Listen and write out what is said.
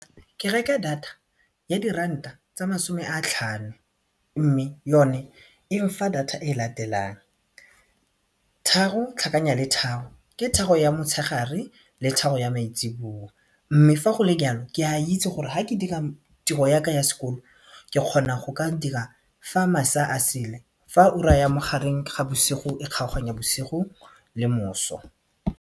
Ke reka data ya diranta tsa masome a tlhano mme yone e nfa data e latelang tharo tlhakanya le tharo ke tharo ya motshegare le tharo ya maitseboa mme fa go le jalo ke a itse gore ga ke dira tiro yaka ya sekolo ke kgona go ka dira fa masela a sele fa ura ya magareng ga bosigo e kgaoganya bosigo le moso.